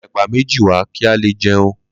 Lo ra èpà méjì wá kí á le jẹun